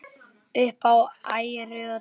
Upp á æru og trú.